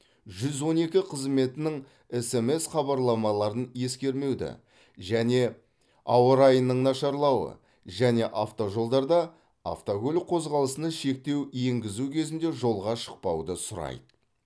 жүз он екі қызметінің смс хабарламаларын ескермеуді және ауа райының нашарлауы және автожолдарда автокөлік қозғалысына шектеу енгізу кезінде жолға шықпауды сұрайды